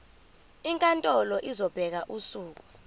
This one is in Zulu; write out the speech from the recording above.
inkantolo izobeka usuku